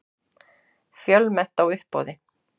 Fjölmennt á uppboði